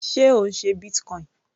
Sé Ò ń ṣe Bitcoin?